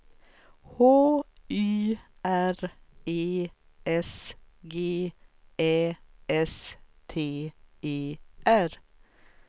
H Y R E S G Ä S T E R